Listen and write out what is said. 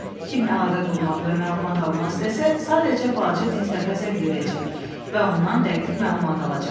Kim əlaqə qurmaq və məlumat almaq istəsə, sadəcə balaca Dinstaqqa zəng edəcək və ondan dəqiq məlumat alacaq.